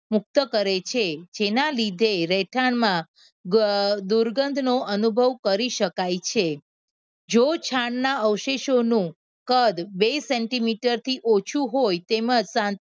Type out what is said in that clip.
મુક્ત કરે છે જેના લીધે રહેઠાણમાં અ દુર્ગંધનો અનુભવ કરી શકાય છે જો છાણના અવશેષોનું કદ બે સેન્ટીમીટર થી ઓછુ હોય તેમજ